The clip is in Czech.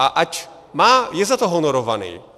A ať je za to honorovaný.